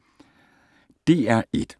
DR1